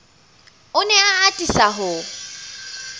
o ne a atisa ho